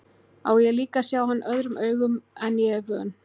Á ég líka að sjá hann öðrum augum en ég er vön.